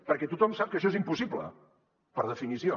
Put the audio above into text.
perquè tothom sap que això és impossible per definició